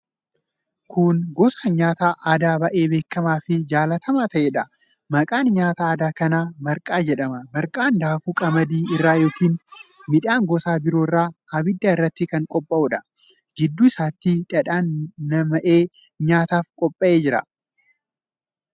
Kun gosa nyaata aadaa baay'ee beekamaa fi jaallatamaa ta'eedha. Maqaan nyaata aadaa kanaa marqaa jedhama. Marqaan daakuu qamadii irraa yookiin midhaan gosa biroo irraa abidda irratti kan qophaa'uudha. Gidduu isaatti dhadhaan nam'ee nyaataaf qophaa'ee jira.